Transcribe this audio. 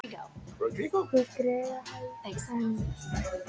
Ég græt enn.